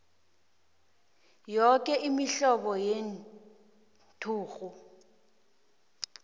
yoke imihlobo yenturhu